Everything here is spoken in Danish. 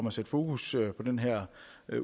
at sætte fokus på den her